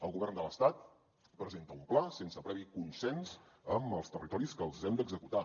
el govern de l’estat presenta un pla sense previ consens amb els territoris que els hem d’executar